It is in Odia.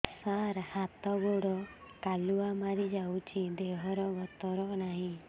ସାର ହାତ ଗୋଡ଼ କାଲୁଆ ମାରି ଯାଉଛି ଦେହର ଗତର ନାହିଁ